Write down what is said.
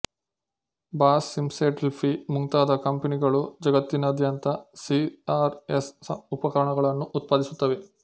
Bosch Siemens Delphi ಮುಂತಾದ ಕಂಪನಿಗಳು ಜಗತ್ತಿನಾದ್ಯಂತ ಸಿ ರ್ ಎಸ್ ಉಪಕರಣಗಳನ್ನು ಉತ್ಪಾದಿಸುತ್ತವೆ